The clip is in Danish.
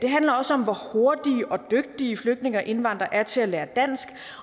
handler også om hvor hurtige og dygtige flygtninge og indvandrere er til at lære dansk